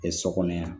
sɔ kɔnɔ yan